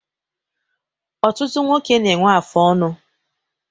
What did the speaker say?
Ọtụtụ nwoke n'ewe afụ ọnụ